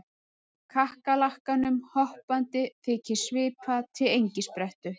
Kakkalakkanum hoppandi þykir svipa til engisprettu